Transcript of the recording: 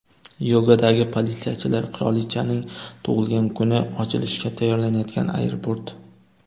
Yogadagi politsiyachilar, qirolichaning tug‘ilgan kuni, ochilishga tayyorlanayotgan aeroport.